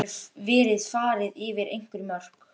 Veit að nú hefur verið farið yfir einhver mörk.